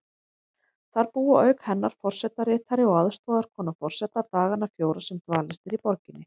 Þar búa auk hennar forsetaritari og aðstoðarkona forseta dagana fjóra sem dvalist er í borginni.